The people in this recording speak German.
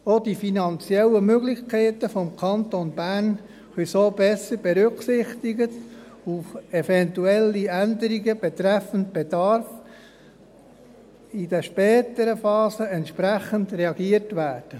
Auch die finanziellen Möglichkeiten des Kantons Bern können so besser berücksichtigt und auf eventuelle Änderungen betreffend Bedarf in den späteren Phasen kann entsprechend reagiert werden.